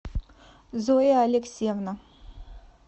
зоя алексеевна